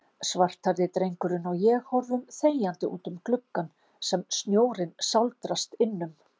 Svarthærði drengurinn og ég horfum þegjandi útum gluggann sem snjórinn sáldrast innum.